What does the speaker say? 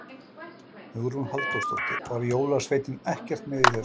Hugrún Halldórsdóttir: Var jólasveinninn ekkert með í þessu?